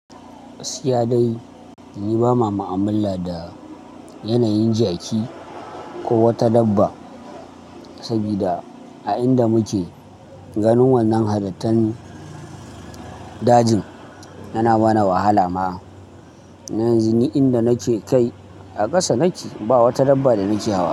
Gaskiya dai ni ba ma ma'amala da yanayin jaki ko wata dabba, sabida a inda muke ganin wannan halittan dajin yana bani wahala ma. Yanzu ni inda nake kai a ƙasa nake ba wata dabba da nake hawa.